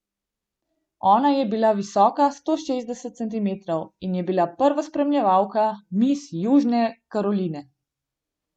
Ona je bila visoka sto šestdeset centimetrov in je bila prva spremljevalka mis Južne Karoline.